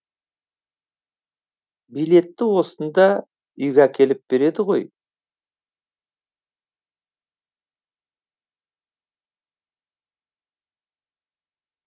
билетті осында үйге әкеліп береді ғой